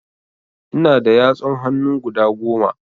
Ina da yatsun hannu guda Goma